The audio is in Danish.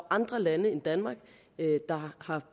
andre lande end danmark der har